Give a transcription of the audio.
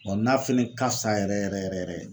n'a fɛnɛ ka fisa yɛrɛ yɛrɛ yɛrɛ yɛrɛ.